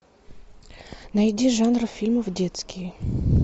найди жанр фильмов детские